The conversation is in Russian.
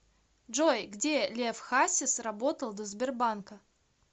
джой где лев хасис работал до сбербанка